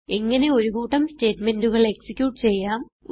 എങ്ങനെ ഒരു കൂട്ടം സ്റ്റേറ്റ്മെന്റുകൾ എക്സിക്യൂട്ട് ചെയ്യാം